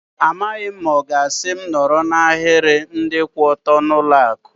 Amaghị m ma ọ ga-asị m nọrọ n'ahiri ndị kwụ ọtọ n'ụlọ akụ.